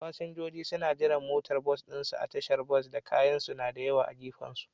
Fasinjoji suna jiran motocin bas ɗinsu a tashar bas, da kayansu na da yawa a gefensu.